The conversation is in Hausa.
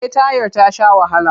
Eh tayar ta sha wahala.